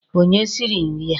Onye siri nri a?